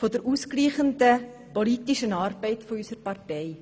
der ausgleichenden politischen Arbeit unserer Partei.